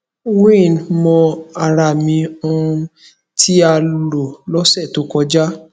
wean mo ara mi um ti a lo lose to koja